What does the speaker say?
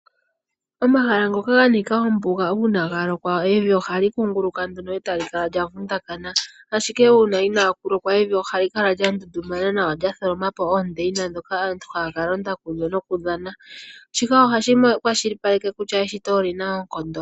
Omahala ngoka ga nika ombuga uuna ga lokwa evi ohali kunguluka nduno eta li kala lya vundakana . Ashike uuna inaa kulokwa evi ohali kala lya ngundumana nawa lyatholoma po oondeyina ndhoka aantu haya kalonda kudho nokudhana. Shika ohashi kwashilipaleke kutya evi oli na oonkondo.